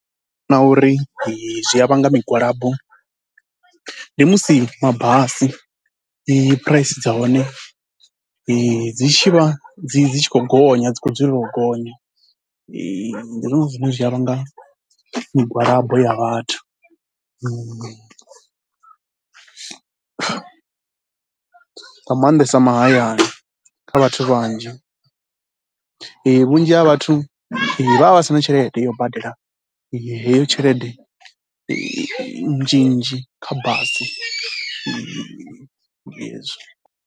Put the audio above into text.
Na uri zwi a vhanga migwalabo ndi musi mabasi phuraisi dza hone dzi tshi vha dzi tshi khou gonya, dzi khou dzulela u gonya, ndi zwone zwine zwi a vhanga migwalabo ya vhathu. Nga maanḓesa mahayani kha vhathu vhanzhi, vhunzhi ha vhathu vha vha vha si na tshelede yo badela heyo tshelede nzhinzhi kha basi, ndi hezwo.